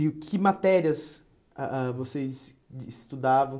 E que matérias ah ah vocês estudavam?